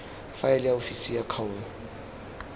faele ya ofisi ya kgaolo